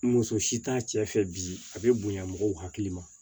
Muso si t'a cɛ fɛ bi a bɛ bonya mɔgɔw hakili ma